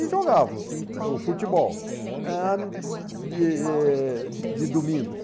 E jogávamos em o futebol ãh de eh de de domingos.